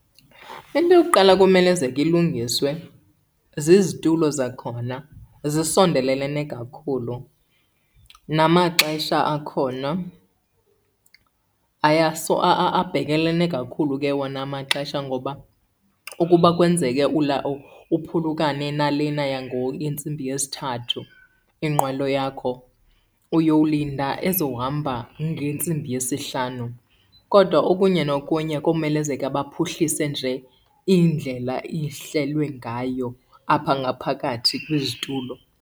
Into yokuqala ekumelezeke ilungiswe zizitulo zakhona, zisondelelene kakhulu. Namaxesha akhona, abhekelene kakhulu ke wona amaxesha. Ngoba ukuba kwenzeke uphulukane nalena yentsimbi yesithathu inqwelo yakho uyolinda ezohamba ngentsimbi yesihlanu. Kodwa okunye nokunye komelezeka baphuhlise nje indlela ihlelwe ngayo apha ngaphakathi kwizitulo.